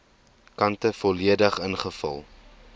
kante volledig ingevul